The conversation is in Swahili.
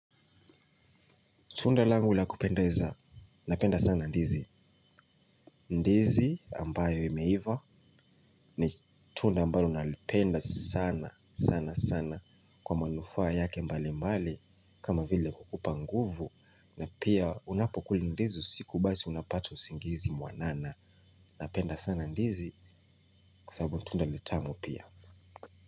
Tunda langu la kupendeza, napenda sana ndizi. Ndizi ambayo imeiva ni tunda ambalo ninalipenda sana sana sana kwa manufaa yake mbali mbali. Kama vile kukupa nguvu na pia unapokula ndizi usiku basi unapata usingizi mwanana napenda sana ndizi kwasabu ni tunda litamu pia.